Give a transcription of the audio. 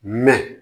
Mɛ